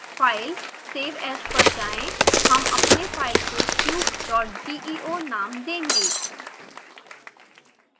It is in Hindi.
file >> save as पर जाएँ हम अपने फाइल को cubegeo नाम देंगे